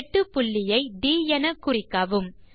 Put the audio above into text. வெட்டுப்புள்ளியை ட் எனக்குறிக்கவும்